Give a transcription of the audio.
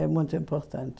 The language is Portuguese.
É muito importante.